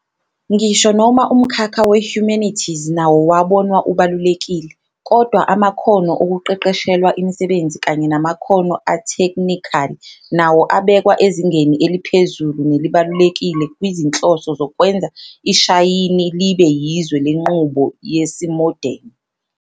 Ngisho noma umkhakha we-humanities nawo wabonwa ubalulekile, kodwa amakhono okuqeqeshelwa imisebenzi kanye namakhono atheknikhali, nawo abekwa ezingeni eliphezulu nelibalulekile kwizinhloso zokwenza iShayini libe yizwe lenqubo yesimodeni.